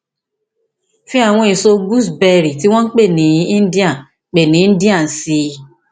fi àwọn èso gooseberry tí wọn ń pè ní indian pè ní indian sí i